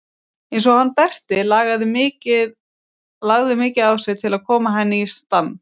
Eins og hann Berti lagði mikið á sig til að koma henni í stand.